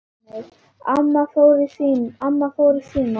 Horfi á sjálfa mig.